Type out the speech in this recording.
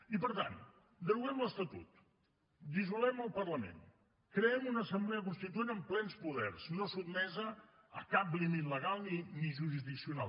i per tant deroguem l’estatut dissolem el parlament creem una assemblea constituent amb plens poders no sotmesa a cap límit legal ni jurisdiccional